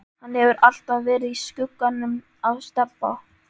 Hann hefur alltaf verið í skugganum af Stebba.